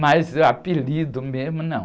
Mas apelido mesmo, não.